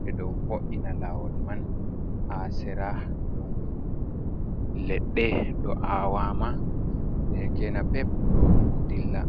ɓe ɗo vo'ina lawol man, haa sera ɗon leɗɗe ɗo a wama, keke napep ɗo dilla.